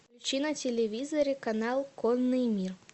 включи на телевизоре канал конный мир